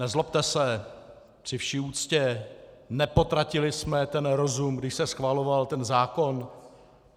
Nezlobte se, při vší úctě, nepotratili jsme ten rozum, když se schvaloval ten zákon?